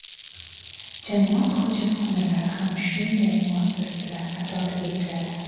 Jamoat hojatxonalari ham shunday muassasalar qatoriga kiradi.